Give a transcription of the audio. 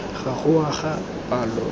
ga go wa ga palo